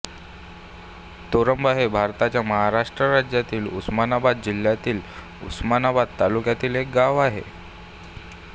तोरंबा हे भारताच्या महाराष्ट्र राज्यातील उस्मानाबाद जिल्ह्यातील उस्मानाबाद तालुक्यातील एक गाव आहे